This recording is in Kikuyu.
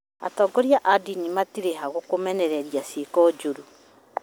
atongoria a ndini marĩho kũmenereria ciĩko njũru